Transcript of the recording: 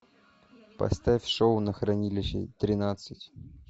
поставь шоу на хранилище тринадцать